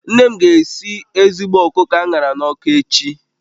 Nne m ga-esi ezigbo ọkụkọ a ṅara n'ọkụ echi